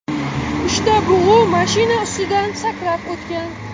Uchta bug‘u mashina ustidan sakrab o‘tgan.